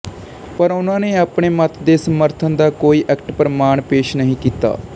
ਪਰ ਉਨ੍ਹਾਂ ਨੇ ਆਪਣੇ ਮੱਤ ਦੇ ਸਮਰਥਨ ਦਾ ਕੋਈ ਅਕੱਟ ਪ੍ਰਮਾਣ ਪੇਸ਼ ਨਹੀਂ ਕੀਤਾ